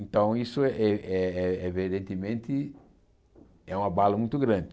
Então isso, eh eh evidentemente, é um abalo muito grande.